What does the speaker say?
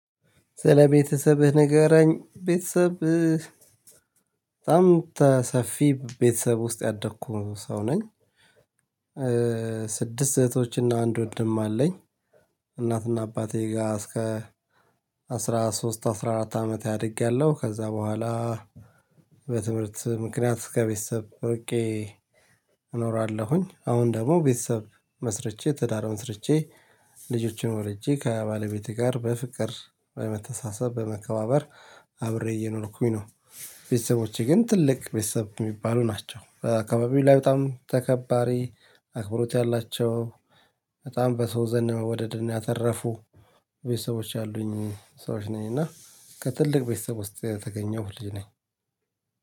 ስለ ቤተሰብህ ንገረኝ? ቤተሰብ በጣም ሰፊ ቤተሰብ ውስጥ ያደኩ ሰው ነኝ። ስድስት እህቶችና አንድ ወድም አለኝ። እናትና አባቴ ጋር እስከ አስራ ሶስት አስራ አራት አመት አድጌያለሁ። ከዛ በኋላ በትምህርት ምክንያት ከቤተሰብ ርቄ እኖራለሁኝ። አሁን ደግሞ ቤተሰብ መስርቼ ትዳር መስርቼ ልጆችን ወልጄ ከባለቤቴ ጋር በፍቅር በመተሳሰብ በመከባበር አብሬ እየኖርኩኝ ነው። ቤተሰቦቼ ግን ትልቅ ቤተሰብ የሚባሉ ናቸው በአካባቢው ላይ በጣም ተከባሪ አክብሮት ያላቸው። በጣም በሰው ዘንድ መወደድና ያተረፉ ቤተሰቦች አሉኝ። ሰዎች ነኝ እና ከትልቅ ቤተሰብ ውስጥ የተገኘው ልጅ ነኝ።